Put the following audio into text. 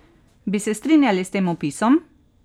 Bi se strinjali s tem opisom?